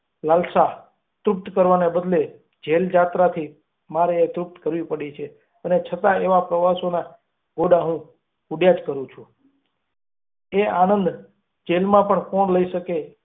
પ્રવાસા તૃપ્ત કરવાને બદલે જેવજાબાથી મારે એ તૃપ્ત કરવી પડી છે, અને છતાં, એવા પ્રવાસોનો થી હું ઘડ્યા જ કરે છે એ આનંદ જેલમાં પણ કોણ લઈ શકે એમ છે.